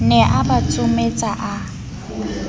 ne a ba tsometsa a